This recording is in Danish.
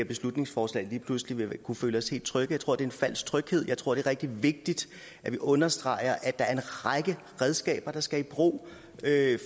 beslutningsforslag lige pludselig vil kunne føle os helt trygge jeg tror det er en falsk tryghed jeg tror det er rigtig vigtigt at vi understreger at der er en række redskaber der skal i brug